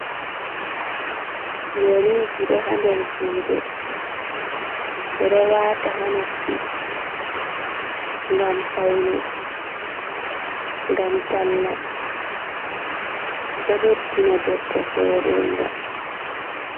Yeriji ɗo ha nder jude, ɓeɗo wata ha noppi, gam paune, gam talla, do beddina debbo vode nga.